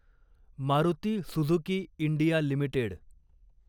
Maruti Suzuki India limited